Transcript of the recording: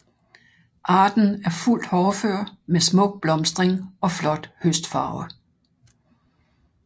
Arten er fuldt hårdfør med smuk blomstring og flot høstfarve